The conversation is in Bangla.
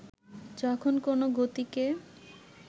যখন কোনো গতিকে